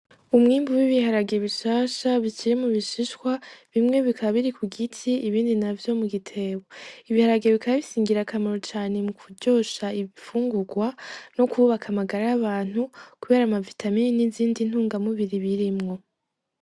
Umwimbu w'ibiharage bishasha bikiri mubishishwa bimwe bikaba biri kugiti ibindi navyo bikaba biri mugitebo. Ibiharage bikaba bifise ingirakamaro cane mukuryosha imfungugwa nokubaka amagara y'abantu kubera amavitamini n'izindi ntungamubiri zirimwo.